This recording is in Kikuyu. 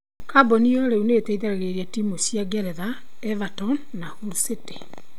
Kambuni ĩyo rĩu nĩ ĩteithagĩrĩria timũ cia Ngeretha, Everton na Hull City.